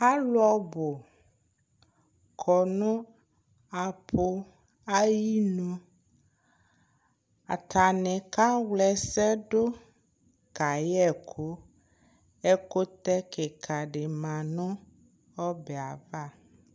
Alʋ ɔbʋ kɔ nʋ apʋ ayinu Atani kawla ɛsɛ dʋ, kayɛ ɛkʋ Ɛkʋtɛ kika di ma nʋ ɔbɛ yɛ ava